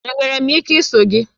Enwere m ike iso gị?